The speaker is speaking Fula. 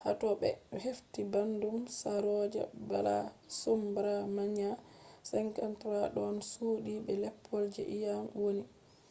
ha to ɓe hefti ɓandu saroja balasubramanian 53 ɗon suddi be leppol je iyam wonni